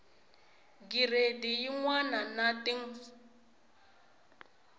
giredi yin wana na tin